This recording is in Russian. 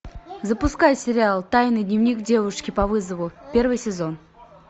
запускай сериал тайный дневник девушки по вызову первый сезон